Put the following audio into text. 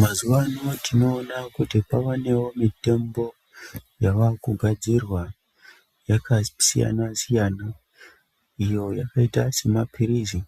Mazuwano tinoona kuti kwavanewo mitombo yavakugadzirwa yakasiyana-siyana iyo yakaita semaphirizi